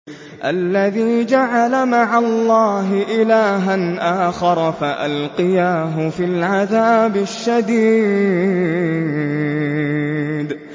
الَّذِي جَعَلَ مَعَ اللَّهِ إِلَٰهًا آخَرَ فَأَلْقِيَاهُ فِي الْعَذَابِ الشَّدِيدِ